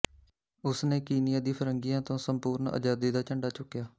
ਉਸ ਨੇ ਕੀਨੀਆ ਦੀ ਫਰੰਗੀਆਂ ਤੋਂ ਸੰਪੂਰਨ ਆਜ਼ਾਦੀ ਦਾ ਝੰਡਾ ਚੁੱਕਿਆ